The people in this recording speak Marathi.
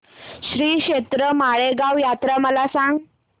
श्रीक्षेत्र माळेगाव यात्रा मला सांग